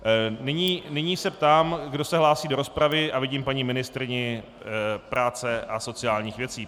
Nyní se ptám, kdo se hlásí do rozpravy, a vidím paní ministryni práce a sociálních věcí.